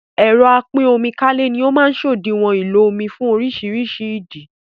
ẹ̀rọ apín-omi-kálé ni ó máa ń sòdiwọ̀n ìlò omí fún orísirísi ìdí